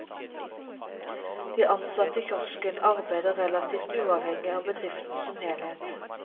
De ansatte i kiosken arbeider relativt uavhengig av bedriften som helhet.